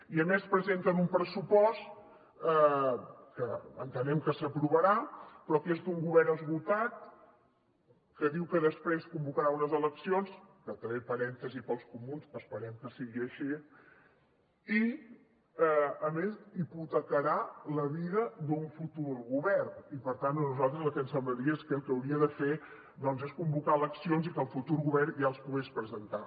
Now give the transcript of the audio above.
i a més presenten un pressupost que entenem que s’aprovarà però que és d’un govern esgotat que diu que després convocarà unes eleccions que també parèntesi per als comuns esperem que sigui així i a més hipotecarà la vida d’un futur govern i per tant a nosaltres el que ens semblaria és que el que hauria de fer doncs és convocar eleccions i que el futur govern ja els pogués presentar